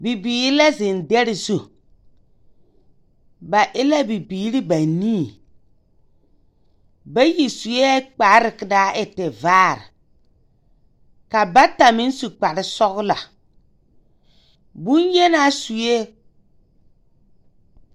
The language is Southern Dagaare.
Bibiiri la zeŋ dɛre zu. Ba e la bibiiri banii. Bayi sue kpare ka a e tevaare, ka ba meŋ su kpare sɔglɔ, boŋyenaa sue…